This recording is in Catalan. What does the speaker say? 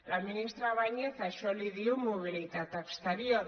la ministra báñez a això li diu mobilitat exterior